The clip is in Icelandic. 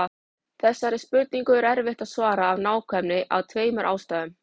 Þessari spurningu er erfitt að svara af nákvæmni af tveimur ástæðum.